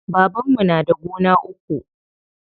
Babanmu na da gona uku.